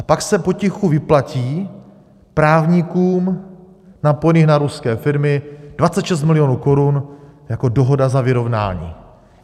A pak se potichu vyplatí právníkům napojeným na ruské firmy 26 milionů korun jako dohoda za vyrovnání.